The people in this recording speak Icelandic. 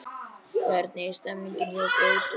Hvernig er stemningin hjá Gróttu?